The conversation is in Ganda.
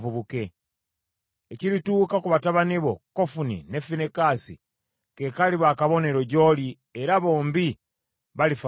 “ ‘Ekirituuka ku batabani bo, Kofuni ne Finekaasi, ke kaliba akabonero gy’oli era bombi balifa ku lunaku lumu.